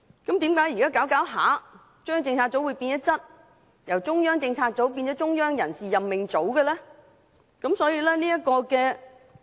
那麼，為何現在中央政策組會漸漸變質，由中央政策組變成"中央人士任命組"呢？